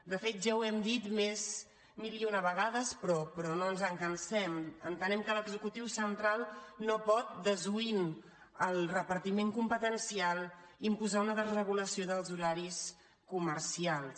de fet ja ho hem dit mil i una vegades però no ens en cansem entenem que l’executiu central no pot desoint el repartiment competencial imposar una desregulació dels horaris comercials